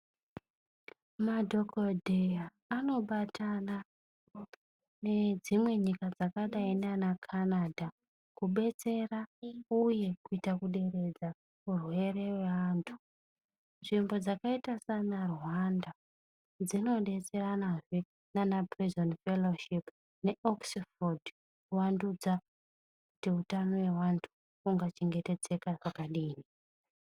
Madhokodheya anobatana nedzimwe nyika dzakadai naana Canada kubetsera uye kuita kuderedza urwere weanhu. Nzvimbo dzakaita saana Rwanda dzinodetseranazve naana pureizi endi feloshipi ne Oxford kuwandudza kuti utano weanhu ungachengetedzeka pakadini.